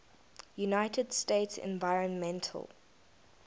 united states environmental